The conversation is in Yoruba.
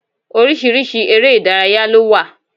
Orísirísi eré Ìdárayá ló wà